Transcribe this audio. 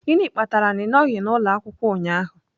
Gịnị kpatara na ị nọghị n'ụlọ akwụkwọ ụnyahụ?